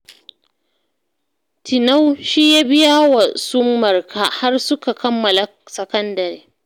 Tinau shi ya biya wa su Marka har suka kammala sakandare